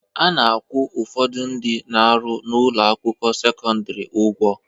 A na-akwụ ụfọdụ ndị na-arụ n'ụlọ akwụkwọ sekọndịrị ụgwọ